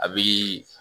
A bi